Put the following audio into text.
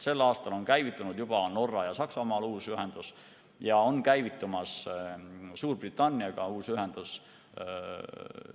Sel aastal on käivitunud juba Norra ja Saksamaaga uus ühendus ja on käivitumas Suurbritanniaga uus ühendus.